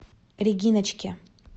региночке